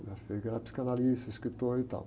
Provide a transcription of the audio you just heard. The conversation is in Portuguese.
O que era psicanalista, escritor e tal.